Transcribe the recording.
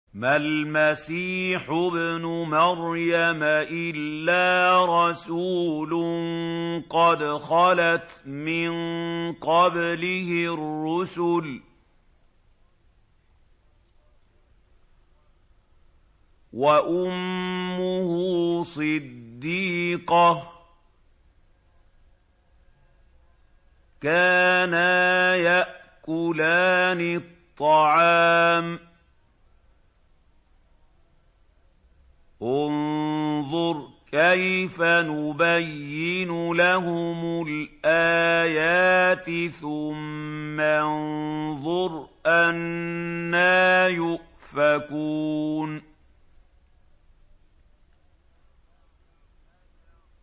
مَّا الْمَسِيحُ ابْنُ مَرْيَمَ إِلَّا رَسُولٌ قَدْ خَلَتْ مِن قَبْلِهِ الرُّسُلُ وَأُمُّهُ صِدِّيقَةٌ ۖ كَانَا يَأْكُلَانِ الطَّعَامَ ۗ انظُرْ كَيْفَ نُبَيِّنُ لَهُمُ الْآيَاتِ ثُمَّ انظُرْ أَنَّىٰ يُؤْفَكُونَ